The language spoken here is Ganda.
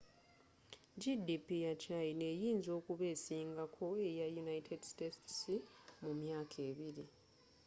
gdp ya china eyinza okuba esinga ko eya united states mu myaka ebiri